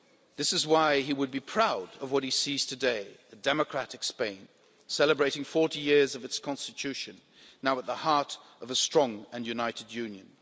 This is why he would be proud of what he sees today, a democratic Spain, celebrating 40 years of its Constitution, now at the heart of a strong and united Union.